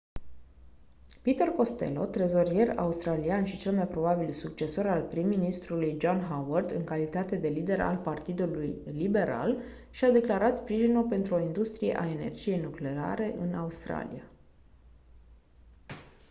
peter costello trezorier australian și cel mai probabil succesor al prim-ministrului john howard în calitate de lider al partidului liberal și-a declarat sprijinul pentru o industrie a energiei nucleare în australia